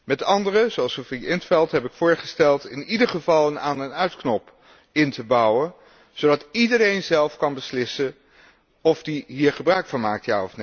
Met anderen, zoals Sophia in 't Veld, heb ik voorgesteld in ieder geval een aan en uitknop in te bouwen, zodat iedereen zelf kan beslissen of hij hier al dan niet gebruik van maakt.